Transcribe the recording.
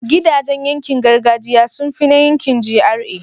gidajan yankin gargajiya sunfi na yankin GRA